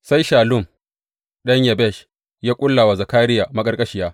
Sai Shallum ɗan Yabesh ya ƙulla wa Zakariya maƙarƙashiya.